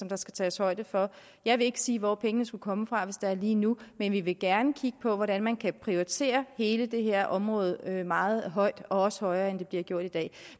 der skal tages højde for jeg vil ikke sige hvor pengene skal komme fra hvis det er lige nu men vi vil gerne kigge på hvordan man kan prioritere hele det her område meget højt og også højere end det bliver gjort i dag